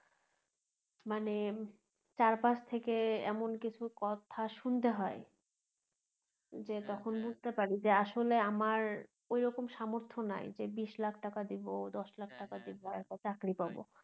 মানে চার পাশ থেকে এমন কিছু কথা শুনতে হয় যে তখন বুঝতে পারি যে আসলে আমার ওইরকম সামর্থ্য নাই যে বিশ লাখ টাকা দিবো দশ লাখ দিবো একটা চাকরি পাবো